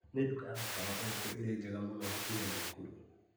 Nĩ nduka ya mũkawa ũrĩkũ ĩrĩ njega mũno hakuhĩ Naĩkurũ?